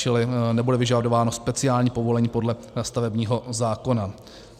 Čili nebude vyžadováno speciální povolení podle stavebního zákona.